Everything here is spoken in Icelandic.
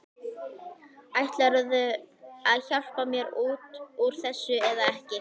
Ætlarðu að hjálpa mér út úr þessu eða ekki?